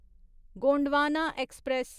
Gondwana express